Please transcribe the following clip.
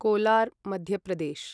Kolar Madhya Pradesh